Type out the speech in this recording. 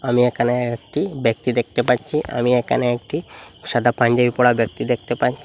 আমি এখানে একটি ব্যক্তি দেখতে পাচ্ছি আমি এখানে একটি সাদা পাঞ্জাবি পরা ব্যক্তি দেখতে পাচ্ছি।